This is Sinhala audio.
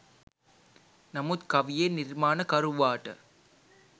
නමුත් කවියේ නිර්මාණකරුවාට